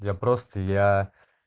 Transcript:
я просто я